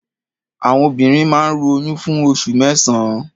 Àwọn obìnrin máa ń ru oyún fún oṣù mẹ́sàn-án.